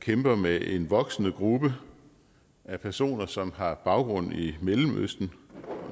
kæmper med en voksende gruppe af personer som har baggrund i mellemøsten